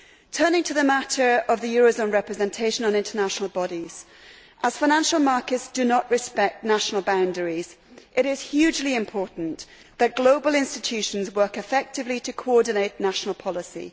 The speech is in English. Turning to the matter of eurozone representation on international bodies, as financial markets do not respect national boundaries, it is hugely important that global institutions work effectively to coordinate national policy.